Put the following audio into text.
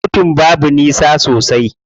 Kotun babu nisa sosai.